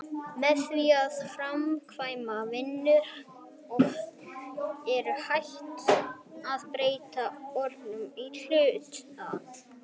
með því að framkvæma vinnu er hægt að breyta orkuinnihaldi hluta